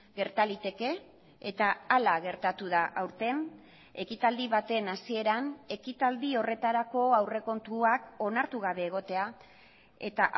gerta liteke eta hala gertatu da aurten ekitaldi baten hasieran ekitaldi horretarako aurrekontuak onartu gabe egotea eta